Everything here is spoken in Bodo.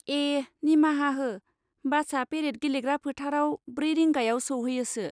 ए, निमाहा हो, बासआ पेरेद गेलेग्रा फोथाराव ब्रै रिंगायाव सौहैयोसो।